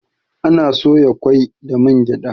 Ana soya kwai da man gyada